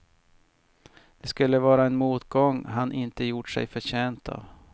Det skulle vara en motgång han inte gjort sig förtjänt av.